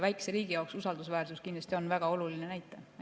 Väikese riigi jaoks on usaldusväärsus kindlasti väga oluline näitaja.